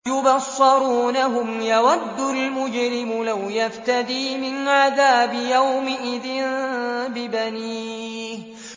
يُبَصَّرُونَهُمْ ۚ يَوَدُّ الْمُجْرِمُ لَوْ يَفْتَدِي مِنْ عَذَابِ يَوْمِئِذٍ بِبَنِيهِ